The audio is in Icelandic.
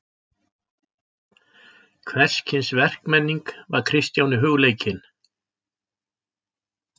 Hvers kyns verkmenning var Kristjáni hugleikin.